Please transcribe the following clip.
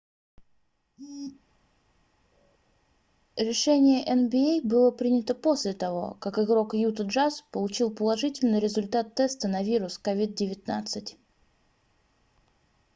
решение nba было принято после того как игрок юта джаз получил положительный результат теста на вирус covid-19